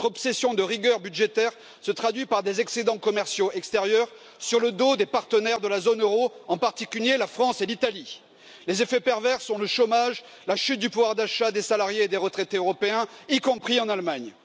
Votre obsession de rigueur budgétaire se traduit par des excédents commerciaux extérieurs obtenus sur le dos de vos partenaires de la zone euro, en particulier la France et l'Italie. Elle produit des effets pervers augmentation du chômage et chute du pouvoir d'achat des salariés et des retraités européens, y compris en Allemagne.